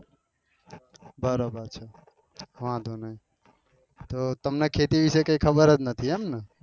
બરોબર બરોબર વાંધો નહો તો તમને ખેતી વિશે કઈ ખબર જ નથી એમ ને